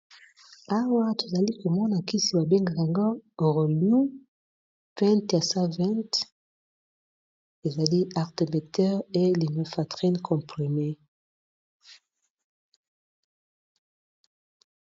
Awa tozali komona kisi babengaka AROLUM 20/ 1 20 ezali Artemetheur lumefatrine comprimée.